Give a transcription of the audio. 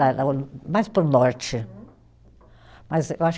Mais para o norte, mas eu acho